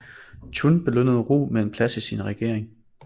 Chun belønnede Roh med en plads i sin regering